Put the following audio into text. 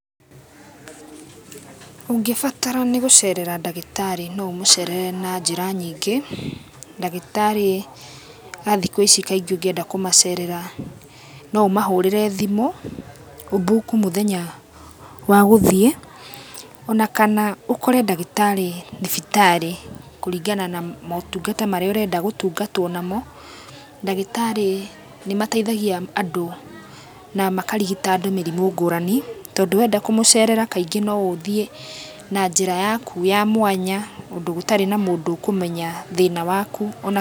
Ũngĩbatara nĩgũcerera ndagĩtarĩ noũmũcerere na njĩra nyingĩ, ndagĩtarĩ athikũ ici kaingĩ ũngĩenda kũmacerera noũmahũrĩre thimũ, ũbuku mũthenya wa gũthiĩ ona kana ũkore ndagĩtarĩ thibitarĩ kũringana na mũtungata marĩa ũrenda gũtungatwo namo, ndagĩtarĩnĩmateithagia andũ namakarigita andũ mĩrimũ ngũrani tondũ wenda kũmũcerera kaingĩ noũthiĩ na njĩraa yaku ya mwanya ũndũ gũtarĩ na mũndũ ũkũmenya thĩna waku.